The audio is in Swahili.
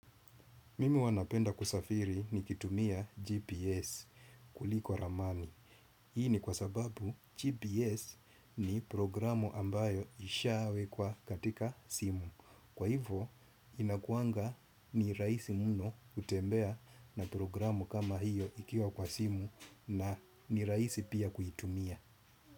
Mimi huwa napenda kusafiri nikitumia GPS kuliko ramani. Hii ni kwa sababu GPS ni programu ambayo ishawekwa katika simu. Kwa hivo inakuanga ni rahisi muno kutembea na programu kama hiyo ikiwa kwa simu na ni rahisi pia kuitumia.